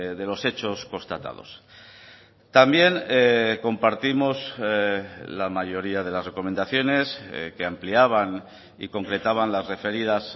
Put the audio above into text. de los hechos constatados también compartimos la mayoría de las recomendaciones que ampliaban y concretaban las referidas